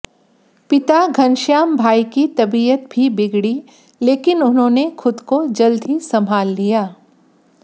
पिता घनश्याम भाई की तबियत भी बिगड़ी लेकिन उन्होंने खुद को जल्द ही संभाल लिया